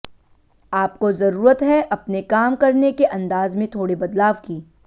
आपको जरूरत है अपने काम करने के अंदाज में थोड़े बदलाव की